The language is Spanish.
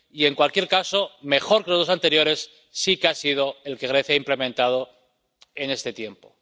Y, en cualquier caso, mejor que los dos anteriores sí que ha sido el que Grecia ha implementado en este tiempo.